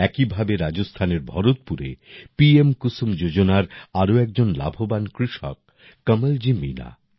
একইভাবে রাজস্থানের ভরতপুরে পিএম কুসুম যোজনার আরো একজন লাভবান কৃষক কমলজী মীণা